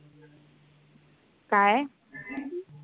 काय?